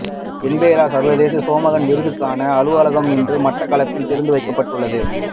என்பரோ சர்வதேச சோமகன் விருதுக்கான அலுவலகம் இன்று மட்டக்களப்பில் திறந்து வைக்கப்பட்டுள்ளது